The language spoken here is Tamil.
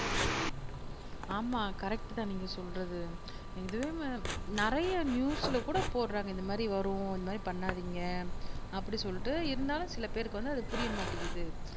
ஆமாம் கரெக்ட் தான் நீங்க சொல்றது இது ம நிறைய நியூஸ்ல கூட போடுறாங்க இந்த மாதிரி வரும் இந்த மாதிரி பண்ணாதிங்க அப்பிடி சொல்லிட்டு இருந்தாலும் சில பேருக்கு வந்து அது புரியமாட்டிங்குது